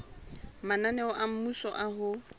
mananeo a mmuso a ho